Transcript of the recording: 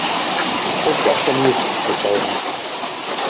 Fólk er svo mjúkt, hugsaði hún.